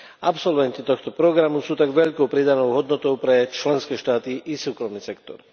Absolventi tohto programu sú tak veľkou pridanou hodnotou pre členské štáty i súkromný sektor.